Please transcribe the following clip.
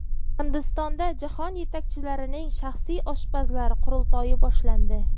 Hindistonda jahon yetakchilarining shaxsiy oshpazlari qurultoyi boshlandi.